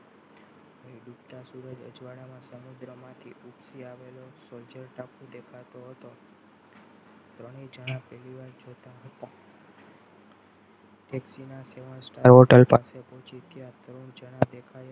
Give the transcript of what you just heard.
ડૂબતા સૂરજ અજવાળા ના સમુદ્રમાંથી માંથી આવેલો soldier ટાપુ દેખાતો હતો ત્રણેય જણા પહેલીવાર જોતા હતા taxi ના seven star hotel પાસે પહોંચીને